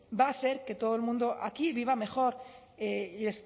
va a hacer que todo el mundo aquí viva mejor y